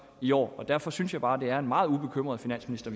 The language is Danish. i år derfor synes jeg bare at det er en meget ubekymret finansminister